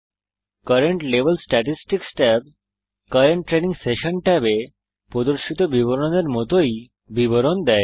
current level statistics tab current training session ট্যাবে প্রদর্শিত বিবরণের মতই বিবরণ দেয়